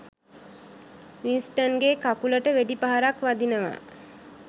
වින්ස්ටන්ගේ කකුලට වෙඩි පහරක් වදිනවා